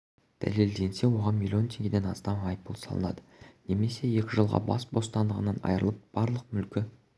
дәлелденсе оған млн теңгеден астам айыппұл салынады немесе екі жылға бас бостандығынан айрылып барлық мүлкі